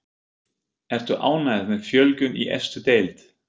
Ertu ánægð með fjölgun í efstu deild?